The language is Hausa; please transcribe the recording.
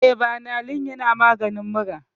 Eh, banalin yana maganin mura